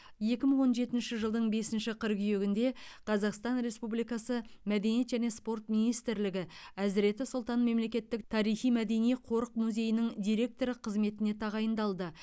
екі мың он жетінші жылдың бесінші қыркүйегінде қазақстан республикасы мәдениет және спорт министрлігі әзіреті сұлтан мемлекеттік тарихи мәдени қорық музейінің директоры қызметіне тағайындалды